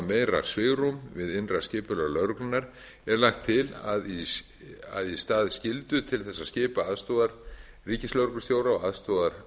meira svigrúm við innra skipulag lögreglunnar er lagt til að í stað skyldu til að skipa aðstoðarríkislögreglustjóra og